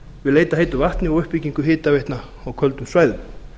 við leit að heitu vatni og uppbyggingu hitaveitna á köldum svæðum